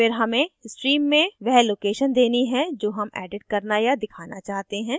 फिर हमें stream में वह location देनी है जो हम edit करना या दिखाना चाहते हैं